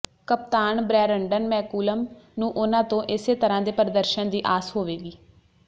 ਕਪਤਾਨ Brendon McCullum ਨੂੰ ਉਨ੍ਹਾਂ ਤੋਂ ਇਸੇ ਤਰ੍ਹਾਂ ਦੇ ਪ੍ਰਦਰਸ਼ਨ ਦੀ ਆਸ ਹੋਵੇਗੀ